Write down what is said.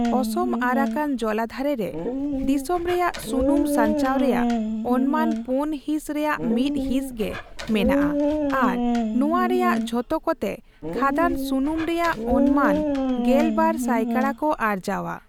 ᱚᱥᱚᱢᱼᱟᱨᱟᱠᱟᱱ ᱡᱚᱞᱟᱫᱷᱟᱨᱮ ᱨᱮ ᱫᱤᱥᱚᱢ ᱨᱮᱭᱟᱜ ᱥᱩᱱᱩᱢ ᱥᱟᱧᱪᱟᱣ ᱨᱮᱭᱟᱜ ᱚᱱᱢᱟᱱ ᱯᱳᱱ ᱦᱤᱥ ᱨᱮᱭᱟᱜ ᱢᱤᱫ ᱦᱤᱸᱥ ᱜᱮ ᱢᱮᱱᱟᱜᱼᱟ ᱟᱨ ᱱᱚᱶᱟ ᱨᱮᱭᱟᱜ ᱡᱷᱚᱛᱚᱠᱚᱛᱮ ᱠᱷᱟᱹᱫᱟᱱ ᱥᱩᱱᱩᱢ ᱨᱮᱭᱟᱜ ᱚᱱᱢᱟᱱ ᱜᱮᱞᱵᱟᱨ ᱥᱟᱭᱠᱟᱲᱟ ᱠᱚ ᱟᱨᱡᱟᱣᱟ ᱾